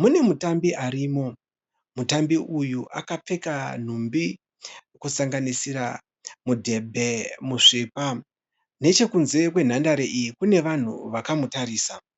Mune mutambi arimo . Mutambi uyu akapfeka nhumbi kusanganisira mudhebhe musvipa . Nechekunze kwenhandare iyi kunevanhu vakamutarisa .